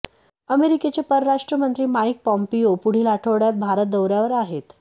अमेरिकेचे परराष्ट्रमंत्री Mike Pompeo पुढील आठवड्यात भारत दौऱ्यावर आहेत